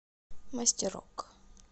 мастерок